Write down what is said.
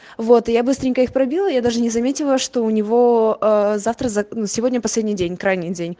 вот я быстренько их пробил я даже не заметила что у него завтра сегодня последний день края